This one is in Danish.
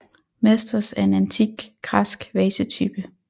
Mastos er en antik græsk vasetype